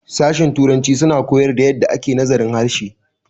sashen Turanci suna koyar da yadda ake nazarin harshe